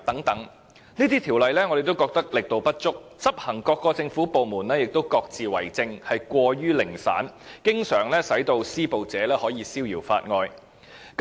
我們認為這些法例的力度不足，而執行的政府部門亦各自為政，過於零散，經常令施暴者可以逍遙法外。